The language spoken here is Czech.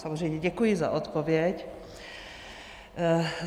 Samozřejmě děkuji za odpověď.